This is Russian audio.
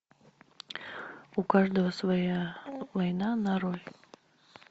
у каждого своя война нарой